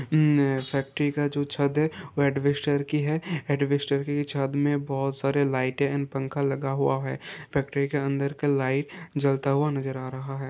अन factory का जो छत है वो एडविस्टर की है एडविस्टर की छत में बहोत सारे लाइटें एंड पंखा लगा हुआ है फैक्ट्री के अंदर का लाइट जलता हुआ नजर आ रहा है।